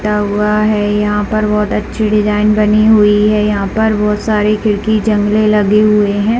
टा हुआ है यहाँ पर बहुत अच्छी डिज़ाइन बनी हुई है यहाँ पर बहुत सारे खिड़की जंगले लगी हुई है।